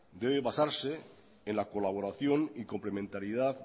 debe basarse en la colaboración y complementariedad